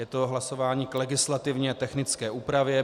Je to hlasování k legislativně technické úpravě.